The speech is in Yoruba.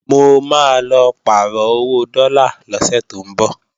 Mo máa lọ pàrọ̀ owó dọ́là lọ́sẹ̀ tó ńbọ̀